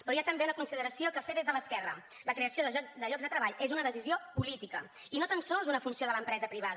però hi ha també una consideració a fer des de l’esquerra la creació de llocs de treball és una decisió política i no tan sols una funció de l’empresa privada